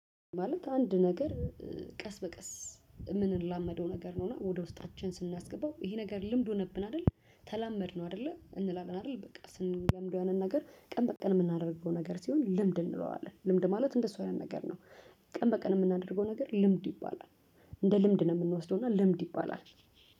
ማለት አንድ ነገር ቀስ በቀስ የምንላመደው ነገር ነው እና ወደ ውስጣችን ስናስገባው ይሄ ነገር ልምድ ሆነብን አይደል ተላመድነው አይደለ እንላለን አይደል በቃ ስንለምድ ያንን ነገር ቀን በቀን የምናደርገው ነገር ሲሆን ልምድ እንለዋለን። ልምድ ማለት እንደሱ አይነት ነገር ነው። ቀን በቀን የምናደርገው ነገር ልምድ ይባላል። እንደ ልምድ ነው የምንወስደው እና ልምድ ይባላል።